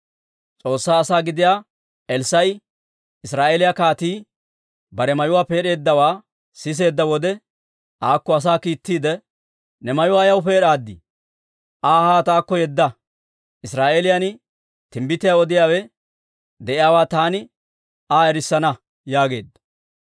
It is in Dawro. S'oossaa asaa gidiyaa Elssaa'i Israa'eeliyaa kaatii bare mayuwaa peed'eeddawaa siseedda wode, aakko asaa kiittiide, «Ne mayuwaa ayaw peed'aadii? Aa haa taakko yedda; Israa'eeliyaan timbbitiyaa odiyaawe de'iyaawaa taani Aa erissana» yaageedda.